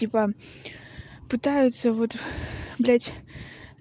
типа пытаются вот блядь